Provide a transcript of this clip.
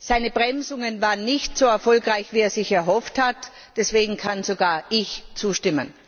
Seine Bremsungen waren nicht so erfolgreich, wie er es sich erhofft hat, deswegen kann sogar ich zustimmen.